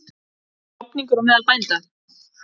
En er klofningur á meðal bænda?